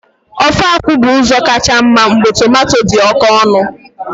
Ofe akwu bu uzo kacha mma mgbe tomato di oke onu.